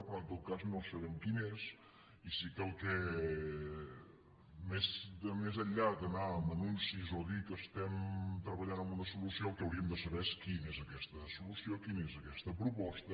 però en tot cas no sabem quina és i sí que més enllà d’anar amb anuncis o dir que treballem en una solució el que hauríem de saber és quina és aquesta solució quina és aquesta proposta